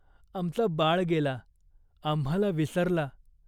आमचा बाळ गेला. आम्हाला विसरला.